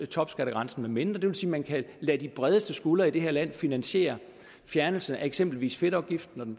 topskattegrænsen med mindre det vil sige man kan lade de bredeste skuldre i det her land finansiere fjernelsen af eksempelvis fedtafgiften og den